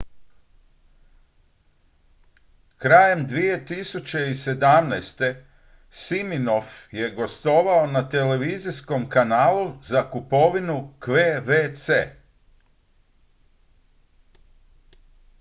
krajem 2017. siminoff je gostovao na televizijskom kanalu za kupovinu qvc